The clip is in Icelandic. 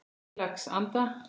Heilags Anda.